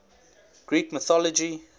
greek mythology